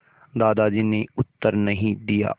दादाजी ने उत्तर नहीं दिया